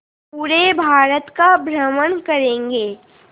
पूरे भारत का भ्रमण करेंगे